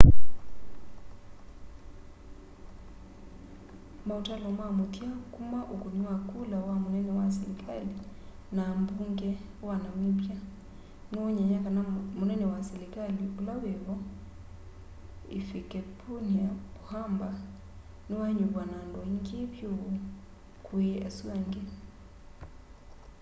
mautalo ma muthia kuma ukuni wa kula wa munene wa selikali na ambunge wa namibia niwonany'a kana munene wa selikali ula wivo hifikepunye pohamba niwanyuvwa na andu aingi vyu kwi asu andi